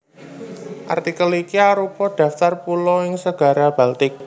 Artikel iki arupa daftar pulo ing Segara Baltik